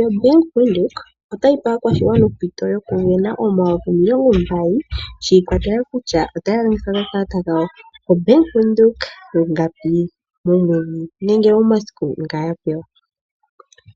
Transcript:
yoBank Windhoek. Otayi pe aakwashigwana ompito yokusindana omayovi omilongo mbali shikwatelela kutya oya longitha okakalata kawo ko Bank Windhoek lungapi nenge omasiku nga yapewa